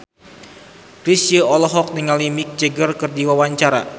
Chrisye olohok ningali Mick Jagger keur diwawancara